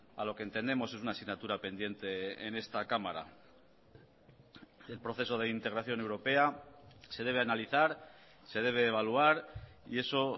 a lo que entendemos es una asignatura pendiente en esta cámara el proceso de integración europea se debe analizar se debe evaluar y eso